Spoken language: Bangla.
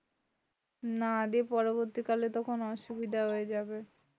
না দিয়ে পরবর্তীকালে তখন অসুবিধা হয়ে যাবে।